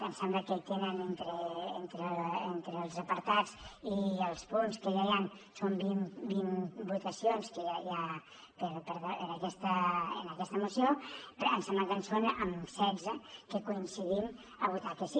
em sembla que hi tenen entre els apartats i els punts que hi ha vint votacions que ja hi ha en aquesta moció però em sembla que és en setze que coincidim a votar que sí